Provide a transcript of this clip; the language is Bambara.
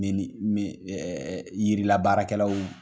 Ne ni min ɛ jirila baarakɛlaw